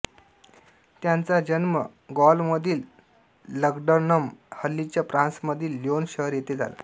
त्याचा जन्म गॉलमधील लग्डनम हल्लीच्या फ्रांसमधील ल्योन शहर येथे झाला